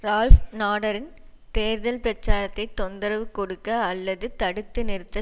Ralph நாடரின் தேர்தல் பிரச்சாரத்தை தொந்தரவு கொடுக்க அல்லது தடுத்து நிறுத்த